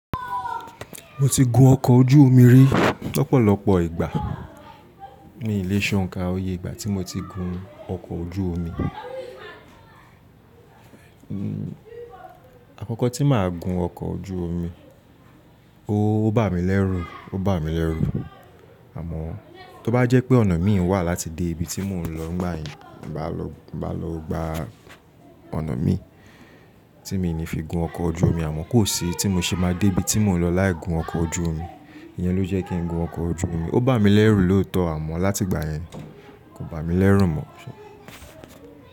Mo ti gun ọkọ̀ ojú omi rí lọ́pọ̀lọpọ̀ ìgbà mí lẹ̀ ṣonka oyè ìgbà tí mo ti gun ọkọ̀ ojú omi. Àkọ́kọ́ tí màá gun ọkọ̀ ojú omi, ó bà mí lẹ́rù, ó bà mí lẹ́rù. Àmọ́ tó bá jẹ́ pé ọ̀nà mi wà láti dé ibi tí mò ń lọ nígbàyẹn, ìbá lọ, ìbá lọ gba ọ̀nà mi, tí mi ní fi gun ọkọ̀ ojú omi. Àmọ́ kò sí tí mo ṣe máa dé ibi tí mò ń lọ láì gun ọkọ̀ ojú omi. Iyẹn ló jẹ́ kí ń gun ọkọ̀ ojú omi. Ó bà mí lẹ́rù lóòótọ́ àmọ́ láti ìgbà yẹn kò bà mí lẹ́rù mọ́.